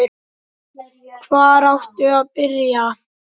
Hvar áttu að byrja?